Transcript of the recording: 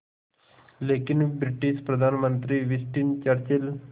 लेकिन ब्रिटिश प्रधानमंत्री Winston Churchill